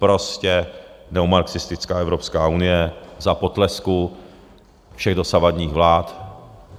Prostě neomarxistická Evropská unie za potlesku všech dosavadních vlád.